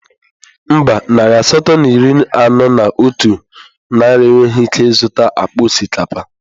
Mba, narị asatọ na iri anọ na otu naira enweghị ike ịzụta akpa osikapa